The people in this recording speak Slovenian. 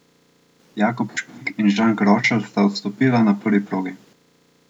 Jakob Špik in Žan Grošelj sta odstopila na prvi progi.